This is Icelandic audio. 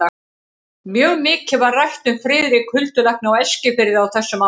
Mjög mikið var rætt um Friðrik huldulækni á Eskifirði á þessum árum.